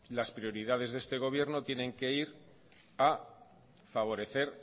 las prioridades de este gobierno tienen que ir a favorecer